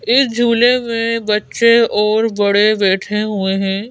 इस झूले में बच्चे और बड़े बैठे हुए हैं।